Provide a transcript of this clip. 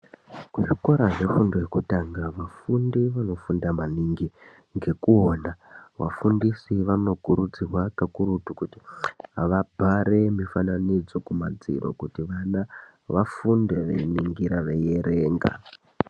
Kuzvikora zvefundo yekutanga afundi anofunda maningi ngekuona afundisi vanokurudzirwa kakurutu kuti vabhare mifananidzo kumadziro kuti vana vafunde veiningira veierenga.